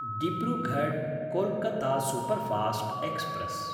डिब्रुगढ्–कोल्कत्ता superfast express